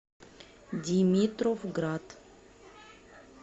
димитровград